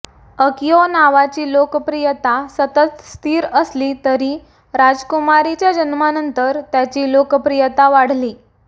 Akio नावाची लोकप्रियता सतत स्थिर असली तरी राजकुमारीच्या जन्मानंतर त्याची लोकप्रियता वाढली